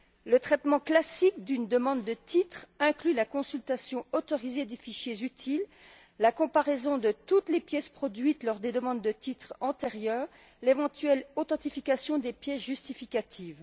Le traitement classique d'une demande de titre inclut la consultation autorisée des fichiers utiles, la comparaison de toutes les pièces produites lors des demandes de titre antérieures et l'éventuelle authentification des pièces justificatives.